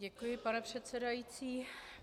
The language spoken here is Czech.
Děkuji, pane předsedající.